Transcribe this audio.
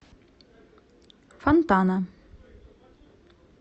фонтана